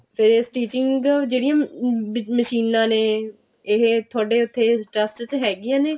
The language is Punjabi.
ਫਿਰ stitching ਜਿਹੜੀਆਂ ਮਸ਼ੀਨਾਂ ਨੇ ਇਹ ਤੁਹਾਡੇ ਉੱਥੇ trust ਚ ਹੈਗੀਆਂ ਨੇ